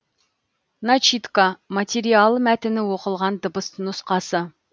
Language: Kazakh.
начитка материал мәтіні оқылған дыбыс нұсқасы